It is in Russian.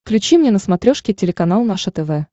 включи мне на смотрешке телеканал наше тв